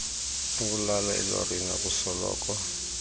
ukulala elorini akusoloko